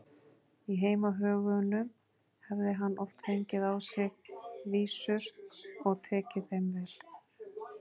Í heimahögunum hefði hann oft fengið á sig vísur og tekið þeim vel.